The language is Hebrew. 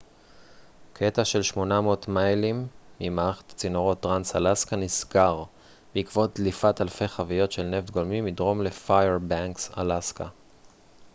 קטע של 800 מיילים ממערכת הצינורות טרנס-אלסקה נסגר בעקבות דליפת אלפי חביות של נפט גולמי מדרום לפיירבנקס אלסקה